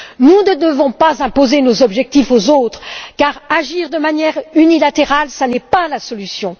Nous ne devons pas imposer nos objectifs aux autres car agir de manière unilatérale n'est pas la solution.